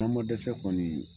An ma dɛsɛ kɔni